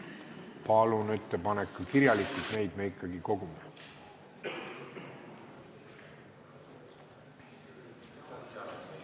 Palun ettepanek ka kirjalikult, neid me ikkagi kogume.